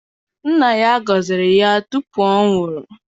Nna ya gọziri ya tupu ọ nwụọ.